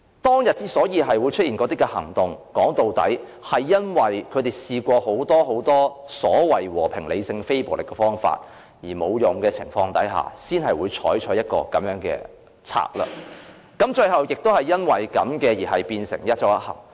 當天出現那些行動，說到底，是因為他們在試過很多所謂和平、理性、非暴力的方法，但結果也沒有用的情況下，才會採取這樣的策略，最後也因此而變成"一周一行"。